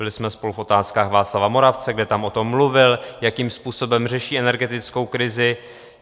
Byli jsme spolu v Otázkách Václava Moravce, kde tam o tom mluvil, jakým způsobem řeší energetickou krizi.